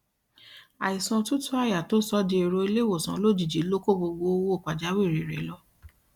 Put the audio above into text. àìsàn òtútù àyà tó sọ ọ dì èrò ilé ìwòsàn lójijì ló kó gbogbo owó pàjáwìrì rẹ lọ